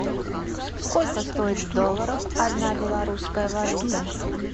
сколько стоит в долларах одна белорусская валюта